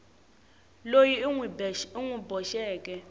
loyi u n wi boxeke